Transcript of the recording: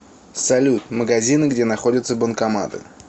салют магазины где находятся банкоматы